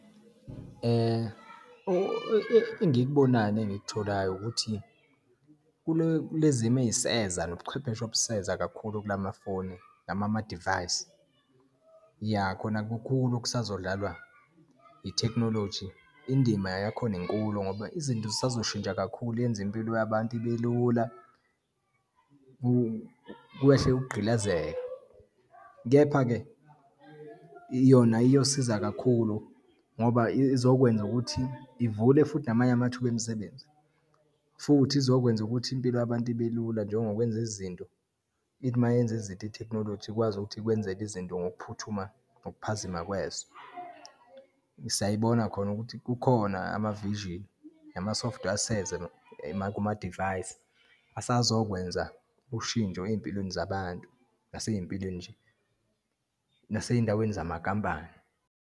Engikubonayo nengikutholayo ukuthi kule, kulezimo eyiseza nobuchwepheshe obuseza kakhulu kulamafoni nama amadivayisi. Iya, khona kukhulu okusazodlalwa itekhinoloji. Indima yakhona inkulu ngoba izinto zisazoshintsha kakhulu, yenze impilo yabantu ibelula, kwehle ukugqilazeka. Kepha-ke, yona iyosiza kakhulu ngoba izokwenza ukuthi ivule futhi namanye amathuba emisebenzi, futhi izokwenza ukuthi impilo yabantu ibelula, njengokwenza izinto. Ithi uma yenza izinto, itekhinoloji ikwazi ukuthi ikwenzele izinto ngokuphuthuma, ngokuphazima kweso. Siyayibona khona kukhona ama-vision, nama-software aseza kumadivayisi, asazokwenza ushintsho eyimpilweni zabantu, naseyimpilweni nje, naseyindaweni zamankampani.